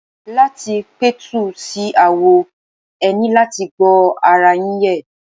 Láti pẹ̀tù sí aáwọ̀, e ní láti gbọ́ ara yín yé.